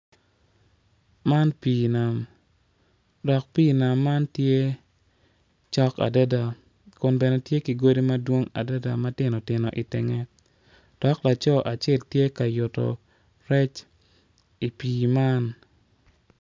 Man pii nam dok pii nam man tye cok adada kun bene tye ki godi ma tino tino cok i tenge dok laco acel tye ka yuto rec i pii man.